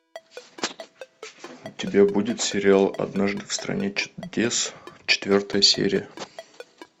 у тебя будет сериал однажды в стране чудес четвертая серия